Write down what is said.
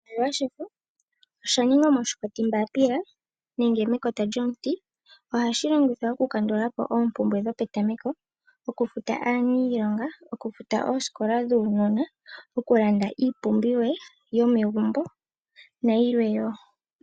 Oshimaliwa shefo osha ningwa moshikopi mbaapila nenge mekota lyomuti. Ohashi longithwa oku kandula po oompumbwe dhopetameko, okufuta aaniilonga, okufuta oosikola dhuunona, oku landa iipumbiwa yomegumbo nayilwe wo.